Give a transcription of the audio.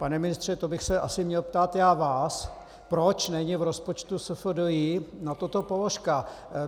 Pane ministře, to bych se asi měl ptát já vás, proč není v rozpočtu SFDI na toto položka.